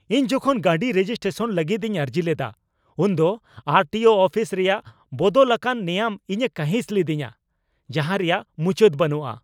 ᱤᱧ ᱡᱚᱠᱷᱚᱱ ᱜᱟᱹᱰᱤ ᱨᱮᱡᱤᱥᱴᱨᱮᱥᱚᱱ ᱞᱟᱹᱜᱤᱫ ᱤᱧ ᱟᱹᱨᱡᱤ ᱞᱮᱫᱟ ᱩᱱᱫᱚ ᱟᱨ ᱴᱤ ᱳ ᱚᱯᱷᱤᱥ ᱨᱮᱭᱟᱜ ᱵᱚᱫᱚᱞ ᱟᱠᱟᱱ ᱱᱮᱭᱟᱢ ᱤᱧᱮ ᱠᱟᱺᱦᱤᱥ ᱞᱮᱫᱮᱧᱟ ᱡᱟᱦᱟᱸ ᱨᱮᱭᱟᱜ ᱢᱩᱪᱟᱹᱫ ᱵᱟᱹᱱᱩᱜᱼᱟ ᱾